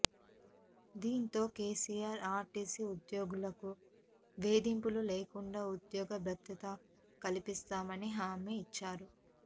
దీంతో కేసీఆర్ ఆర్టీసీ ఉద్యోగులకు వేధింపులు లేకుండా ఉద్యోగ భద్రత కల్పిస్తామని హామీ ఇచ్చారు